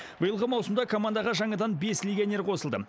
биылғы маусымда командаға жаңадан бес легионер қосылды